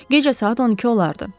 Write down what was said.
gecə saat 12 olardı.